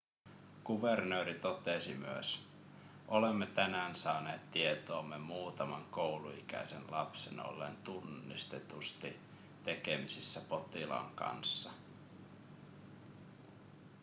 kuvernööri totesi myös olemme tänään saaneet tietoomme muutaman kouluikäisen lapsen olleen tunnistetusti tekemisissä potilaan kanssa